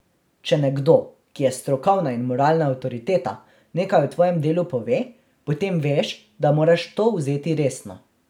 Če nekdo, ki je strokovna in moralna avtoriteta, nekaj o tvojem delu pove, potem veš, da moraš to vzeti resno.